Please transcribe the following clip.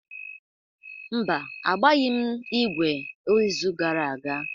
Mba, agbaghị m ígwè izu gara aga.